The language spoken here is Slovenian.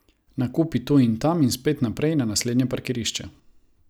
Nakupi tu in tam in spet naprej, na naslednje parkirišče.